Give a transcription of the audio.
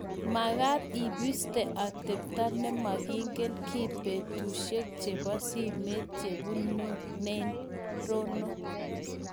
mekat ibiste atebto ne memeken kiy baruesiek chebo simet che bununen Rono